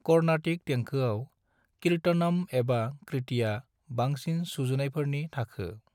Carnatic देंखोआव कीर्तनम एबा कृतिया बांसिन सुजुनायफोरनि थाखो।